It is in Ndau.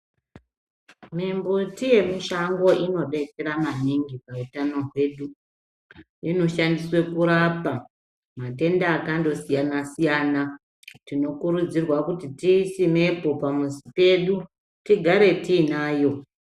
Mi mbuti ye mushango ino detsera maningi mu utano hwedu ino shandiswe kurapa matenda akando siyana siyana tino kurudzirwa kuti tiyi simepo pa muzi pedu tigare tiinayo.